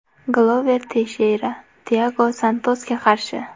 Glover Teysheyra Tiago Santosga qarshi.